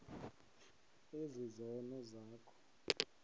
ezi zono zakho